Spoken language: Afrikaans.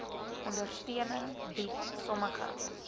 ondersteuning bied sommige